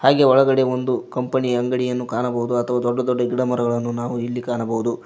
ಹಾಗೆ ಒಳಗಡೆ ಒಂದು ಕಂಪನಿ ಅಂಗಡಿಯನ್ನು ಕಾಣಬಹುದು ಅತ ದೊಡ್ಡ ದೊಡ್ಡ ಗಿಡ ಮರಗಳನು ನಾವು ಇಲ್ಲಿ ಕಾಣಬಹುದು.